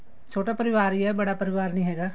ਛੋਟਾ ਪਰਿਵਾਰ ਈ ਏ ਬੜਾ ਪਰਿਵਾਰ ਨੀ ਹੈਗਾ